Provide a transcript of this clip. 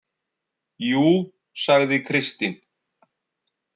Jú, sagði Kristín.